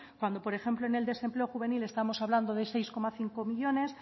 cuando por ejemplo en el desempleo juvenil estamos hablando de seis coma cinco millónes